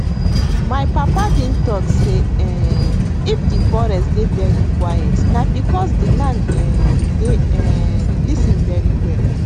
my papa been talk say um if de forest dey very quiet na because de land um dey um lis ten very well